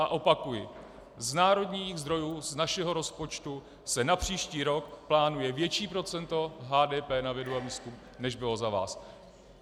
A opakuji, z národních zdrojů z našeho rozpočtu se na příští rok plánuje větší procento HDP na vědu a výzkum, než bylo za vás.